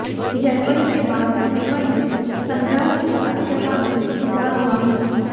जनवरी के बाद दिसंबर में संग्रह की दक्षता में सुधार हुआ है